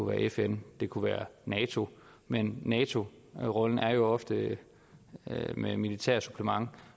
være fn det kunne være nato men nato rollen er jo ofte med et militært supplement